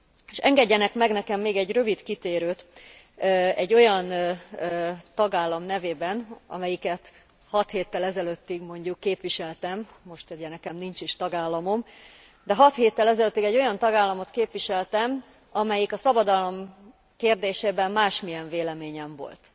És engedjenek meg nekem még egy rövid kitérőt egy olyan tagállam nevében, amelyiket hat héttel ezelőttig mondjuk képviseltem, most ugye nekem nincs is tagállamom, de hat héttel ezelőttig egy olyan tagállamot képviseltem, amelyik a szabadalom kérdésében másmilyen véleményen volt.